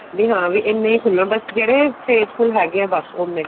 ਵੀ ਹਾਂ ਵੀ ਇੰਨੇ ਹੀ ਖੁੱਲਣ ਬੱਸ ਜਿਹੜੇ faithful ਹੈਗੇ ਹੈ ਬੱਸ ਉੰਨੇ ਕ਼